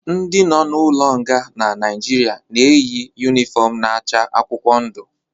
Ndi nọ n'ụlo nga na Nigeria na-eyi unịfọm na-acha akwụkwọ ndụ